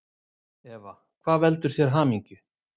Eva: Hvað veldur þér hamingju?